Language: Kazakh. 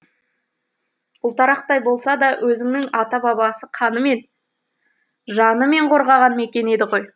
ұлтарақтай болса да өзінің ата бабасы қанымен жанымен қорғаған мекен еді ғой